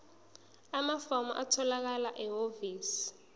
amafomu atholakala ehhovisi